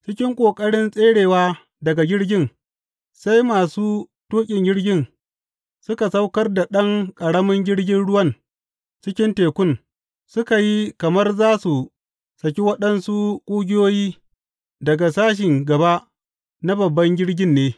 Cikin ƙoƙarin tserewa daga jirgin, sai masu tuƙin jirgin suka saukar da ɗan ƙaramin jirgin ruwan cikin tekun, suka yi kamar za su saki waɗansu ƙugiyoyi daga sashen gaba na babban jirgin ne.